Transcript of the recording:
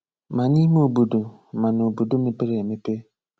Mà n’ímé òbòdò, mà n’òbòdò mépèrè èmepè.